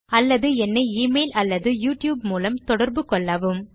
அல்லது என்னை எமெயில் அல்லது யூட்யூப் மூலம் தொடர்பு கொள்ளவும்